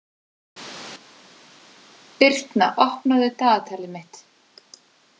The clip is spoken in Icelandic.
Birtna, opnaðu dagatalið mitt.